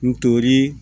N tori